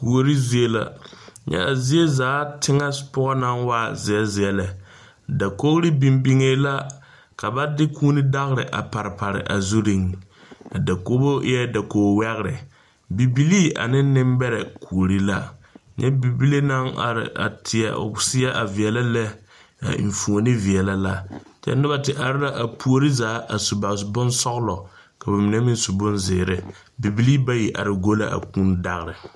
Kuori zie la, nyɛ a zie zaa teŋe poɔ naŋ waa zeɛ zeɛ lɛ, dakori biŋ biŋ la ka ba kʋʋ daori a pare pare a zureŋ, a dakori eɛ dakor wogiri bibilii ane aneŋ nimbeɛre kouri la nyɛ bibile naŋ are a teɛ o seɛ a veɛlɛ lɛ, a enfuoni veɛlɛ la, kyɛ noba te are la a puori zaa a su ba bonsɔglɔ kɔ mine meŋ su bonzeɛre bibilii bayi are gu la a kʋʋ daori